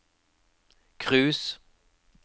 cruise